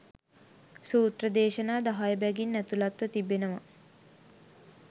සූත්‍ර දේශනා දහය බැගින් ඇතුළත්ව තිබෙනවා.